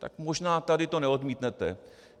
Tak možná tady to neodmítnete.